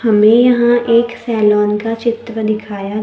हमें यहां एक सैलोन का चित्र दिखाया--